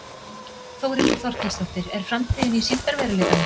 Þórhildur Þorkelsdóttir: Er framtíðin í sýndarveruleikanum?